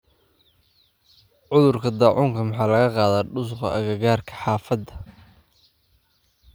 Uuruka dacunka maxa lakaqadha dusuga akakarka hafada .